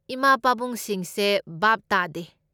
ꯏꯃꯥ ꯄꯥꯕꯨꯡꯁꯤꯡꯁꯦ ꯚꯥꯞ ꯇꯥꯗꯦ꯫